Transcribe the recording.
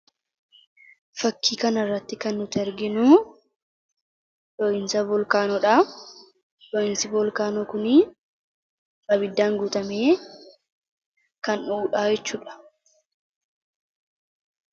Fakkii kana irratti kan nuti arginu dhohiinsa volkaanoodha. Dhohiinsi volkaanoo kun abiddaan guutamee kan dhohuudha jechuudha.